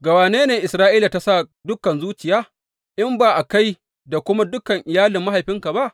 Ga wane ne Isra’ila ta sa dukan zuciya, in ba ga kai da kuma dukan iyalin mahaifinka ba?